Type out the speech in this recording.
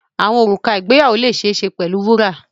Wedding rings can be made of gold